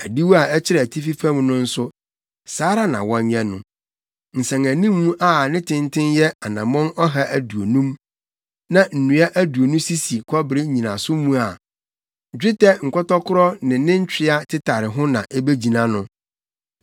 Adiwo a ɛkyerɛ atifi fam no nso, saa ara na wɔnyɛ no. Nsɛnanim a ne tenten yɛ anammɔn ɔha aduonum, na nnua aduonu sisi kɔbere nnyinaso mu a dwetɛ nkɔtɔkoro ne ne ntwea tetare ho na ebegyina no.